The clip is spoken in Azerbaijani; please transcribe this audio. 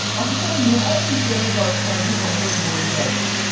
Axı sən niyə ərin işlərinə qarışırsan ki, başına da boyun gəlsin?